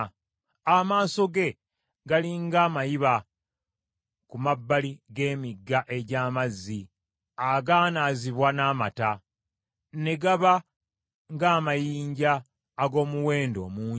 Amaaso ge gali ng’amayiba ku mabbali g’emigga egy’amazzi, agaanaazibwa n’amata, ne gaba ng’amayinja ag’omuwendo omungi.